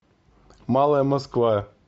малая москва